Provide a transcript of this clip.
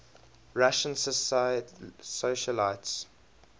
russian socialites